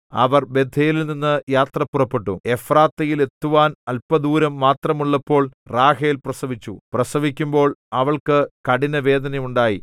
അവർ ബേഥേലിൽനിന്നു യാത്ര പുറപ്പെട്ടു എഫ്രാത്തയിൽ എത്തുവാൻ അല്പദൂരം മാത്രമുള്ളപ്പോൾ റാഹേൽ പ്രസവിച്ചു പ്രസവിക്കുമ്പോൾ അവൾക്കു കഠിന വേദനയുണ്ടായി